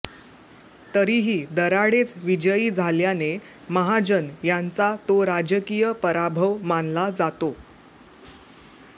तरीही दराडेच विजयी झाल्याने महाजन यांचा तो राजकीय पराभव मानला जातो